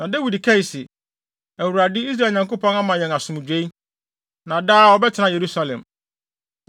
Na Dawid kae se, “ Awurade, Israel Nyankopɔn ama yɛn asomdwoe, na daa ɔbɛtena Yerusalem.